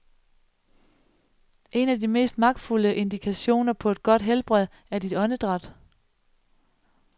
En af de mest magtfulde indikationer på et godt helbred er dit åndedræt.